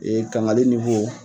kangali